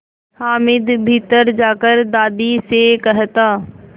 हामिद भीतर जाकर दादी से कहता